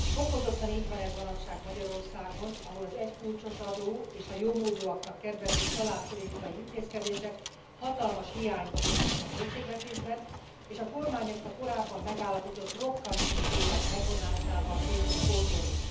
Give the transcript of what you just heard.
Fokozottan így van ez manapság Magyarországon, ahol az egykulcsos adó és a jómódúaknak kedvező családpolitikai intézkedések hatalmas hiányt okoztak a költségvetésben, és a kormány ezt a korábban megállapított rokkantnyugdíjak megvonásával készül pótolni.